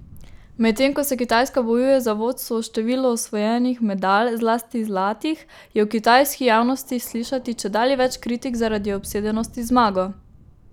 Medtem ko se Kitajska bojuje za vodstvo v številu osvojenih medalj, zlasti zlatih, je v kitajski javnosti slišati čedalje več kritik zaradi obsedenosti z zmago.